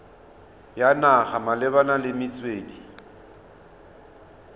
ya naga malebana le metswedi